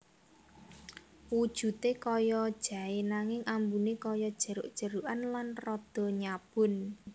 Wujudé kaya jaé nanging ambuné kaya jeruk jerukan lan rada nyabun